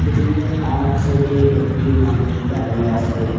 ফ্রিজের আরেক সাইডে একটি মানুষ দাঁড়ায় আসে।